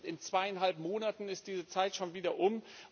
In zweieinhalb Monaten ist diese Zeit schon wieder um.